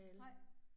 Nej